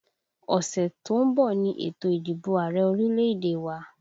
Ọ̀sẹ̀ tó ń bọ̀ ni ètò ìdìbò Ààrẹ orílẹ̀èdè wa